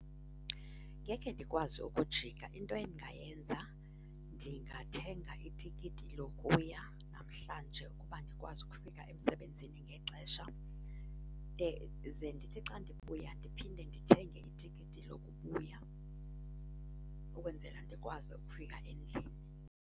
Ngekhe ndikwazi ukujika. Into endingayenza ndingathenga itikiti lokuya namhlanje ukuba ndikwazi ukufika emsebenzini ngexesha de ze ndithi xa ndibuya ndiphinde ndithenge itikiti lokubuya ukwenzela ndikwazi ukufika endlini.